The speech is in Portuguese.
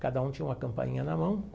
Cada um tinha uma campainha na mão.